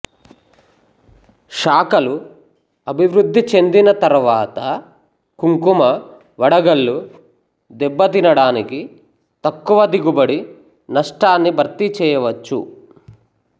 శాఖలు అభివృద్ధి చెందిన తర్వాత కుంకుమ వడగళ్ళు దెబ్బతినడానికి తక్కువ దిగుబడి నష్టాన్ని భర్తీ చేయవచ్చు